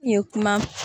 I ye kuma